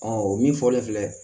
o min fɔlen filɛ